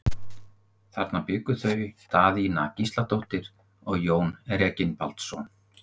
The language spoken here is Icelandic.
Þarna bjuggu þau Daðína Gísladóttir og Jón Reginbaldsson.